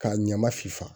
K'a ɲama finfa